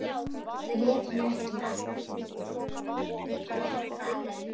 Grét hann ekki.